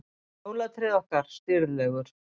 Jólatréð okkar, stirðlegur